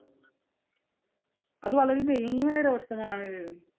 അതു വളരെ ദയനീയമായ ഒരു അവസ്ഥ തന്നെയാണ്.